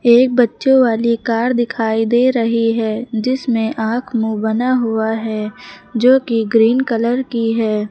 एक बच्चों वाली कार दिखाई दे रही है जिसमें आंख मुंह बना हुआ है जो कि ग्रीन कलर की है।